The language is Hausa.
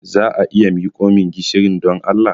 Za a iya miko min gishirin, don Allah?